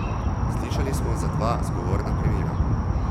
Slišali smo za dva zgovorna primera.